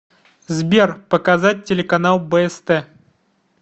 сбер показать телеканал бст